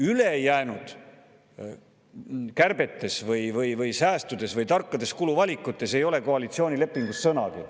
Ülejäänud kärbetest või säästudest või tarkadest kuluvalikutest ei ole koalitsioonilepingus sõnagi.